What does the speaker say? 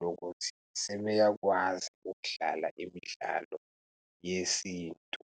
lokuthi sebeyakwazi ukudlala imidlalo yesintu.